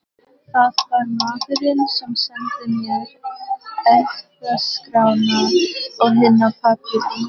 Það var maðurinn sem sendi mér erfðaskrána og hina pappírana.